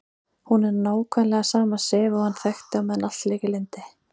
Hún er nákvæmlega sama Sif og hann þekkti meðan allt lék í lyndi.